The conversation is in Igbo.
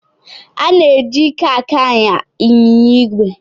Ana-eji ike aka anya ịnyịnya ígwè